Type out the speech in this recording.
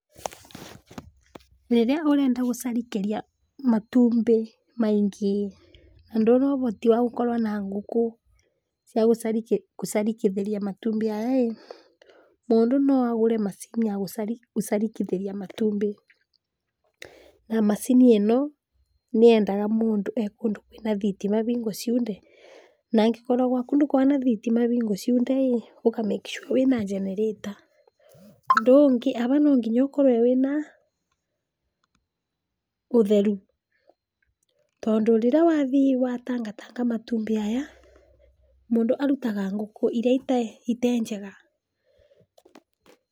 Rĩrĩa ũrenda gũcarikĩria matumbĩ maingĩ na ndũna ũhoti wa gũkorwa na ngũkũ cia gũcarikĩthĩria matumbĩ aya ĩ, mũndũ no agũre macini ya gũcarikĩthiria matumbĩ, na macini ĩno nĩendaga mũndũ ekũndũ kwĩna thitima hingo ciothe, na angĩkorwo gwaku ndũkoragwa na thitima hingo ciothe ĩ ũka make sure wĩna generĩta, ũndũ ũngi haha no nginya ũkorwe wĩna ũtheru, tondũ rĩrĩa wathiĩ watataka matumbĩ aya mũndũ arutaga ngũkũ iria itenjega.